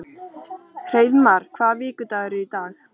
Hreiðmar, hvaða vikudagur er í dag?